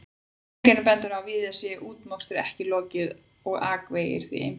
Vegagerðin bendir á að víða sé útmokstri ekki lokið og akvegir því einbreiðir.